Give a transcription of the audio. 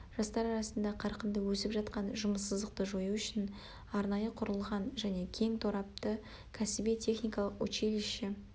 жастар арасында қарқынды өсіп жатқан жұмыссыздықты жою үшін арнайы құрылған және кең торапты кәсіби техникалық училище